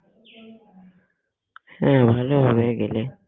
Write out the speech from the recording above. হ্যাঁ ভালো হবে গেলে